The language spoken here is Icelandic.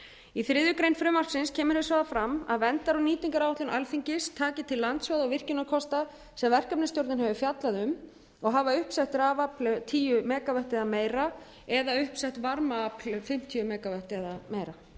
í þriðju greinar frumvarpsins kemur hins vegar fram að verndar og nýtingaráætlun alþingis taki til lands og virkjunarkosta sem verkefnisstjórnin hefur fjallað um og hafa uppsett rafafl tíu mega vöttum eða meira eða uppsett varmaafl um fimmtíu mega vöttum eða meira